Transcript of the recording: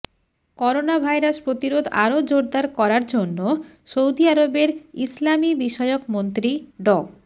corona virus প্রতিরোধ আরও জোরদার করার জন্য সৌদি আরবের ইসলামিবিষয়ক মন্ত্রী ড